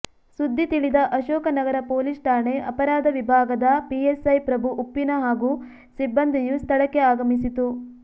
ಸುದ್ದಿ ತಿಳಿದ ಅಶೋಕನಗರ ಪೊಲೀಸ್ ಠಾಣೆ ಅಪರಾಧ ವಿಭಾಗದ ಪಿಸ್ಐ ಪ್ರಭು ಉಪ್ಪಿನ ಹಾಗೂ ಸಿಬ್ಬಂದಿಯು ಸ್ಥಳಕ್ಕೆ ಆಗಮಿಸಿತು